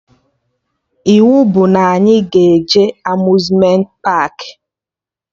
Iwu bụ na anyị ga-eje Amuzmenti paakị!